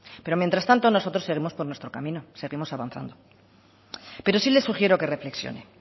pero mientras tanto nosotros seguimos por nuestro camino seguimos avanzando pero si le sugiero que reflexione